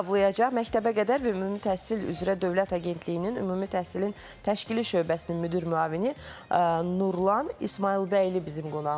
Cavablayacaq Məktəbəqədər və Ümumi Təhsil üzrə Dövlət Agentliyinin Ümumi Təhsilin Təşkili Şöbəsinin müdir müavini Nurlan İsmayılbəyli bizim qonağımızdır.